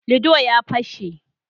"Ludo " ya pashe.